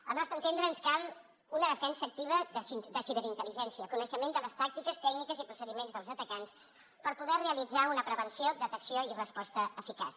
al nostre entendre ens cal una defensa activa de ciberintel·ligència coneixement de les tàctiques tècniques i procediments dels atacants per poder realitzar una prevenció detecció i resposta eficaç